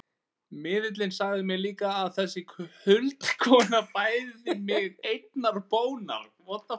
Miðillinn sagði mér líka að þessi huldukona bæði mig einnar bónar.